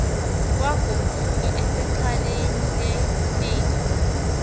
wagoduka esexhaleni lerneko